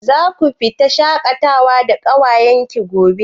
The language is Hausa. Zaku fita shaƙatawa da ƙawayen ki gobe?